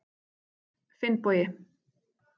Finnbogi